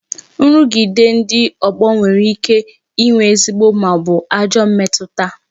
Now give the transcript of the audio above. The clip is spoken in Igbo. Nrugide ndị ogbo nwere ike ịnwe ezigbo maọbu ajọ mmetụta